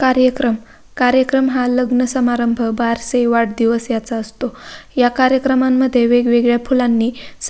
कार्यक्रम कार्यक्रम हा लग्नसमारंभ बारसे वाढदिवस याचा असतो या कार्यक्रमामध्ये वेगवेगळ्या फुलांनी--